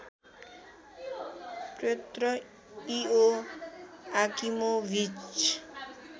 Pyotr Ioakimovich